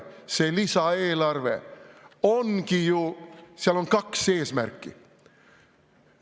Sel lisaeelarvel ongi ju kaks eesmärki.